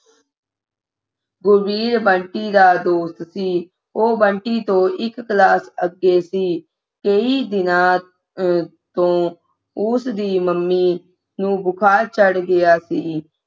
ਗੁਰਵੀਰ ਬੰਟੀ ਦਾ ਦੋਸਤ ਸੀ ਉਹ ਬੰਟੀ ਤੋ ਇਕ class ਅੱਗੇ ਸੀ ਕਈ ਦਿਨਾਂ ਤੋਂ ਕਈ ਦਿਨਾਂ ਤੋਂ ਉਸ ਦੀ ਮੰਮੀ ਨੂੰ ਬੁਖਾਰ ਚੜ੍ਹ ਗਿਆ ਸੀ